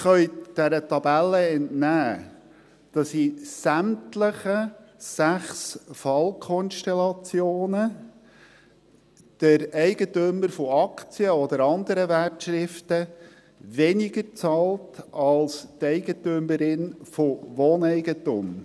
Sie können dieser Tabelle entnehmen, dass der Eigentümer von Aktien oder anderen Wertschriften in sämtlichen sechs Fallkonstellationen weniger zahlt als die Eigentümerin von Wohneigentum.